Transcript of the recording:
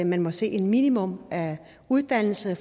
man må se et minimum af uddannelse